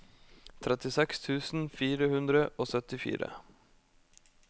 trettiseks tusen fire hundre og syttifire